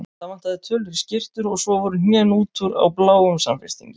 Það vantaði tölur í skyrtur og svo voru hnén út úr á bláum samfestingi.